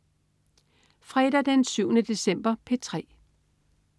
Fredag den 7. december - P3: